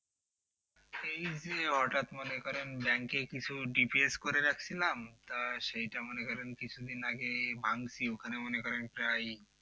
এইযে হঠাৎ মনে করেন ব্যাংকে কিছু DPS করে রাখছিলাম একটা সেটা মনে করেন কিছুদিন আগে ভাঙছি ওখানে মনে করেন একটা এই